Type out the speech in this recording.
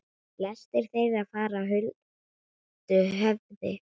Flestir þeirra fara huldu höfði.